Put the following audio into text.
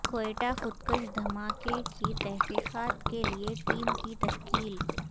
کوئٹہ خود کش دھما کے کی تحقیقات کے لئے ٹیم کی تشکیل